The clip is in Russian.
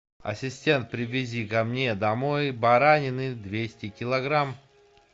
ассистент привези ко мне домой баранины двести килограмм